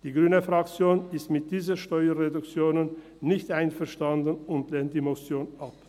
– Die grüne Fraktion ist mit diesen Steuerreduktionen nicht einverstanden und lehnt die Motion ab.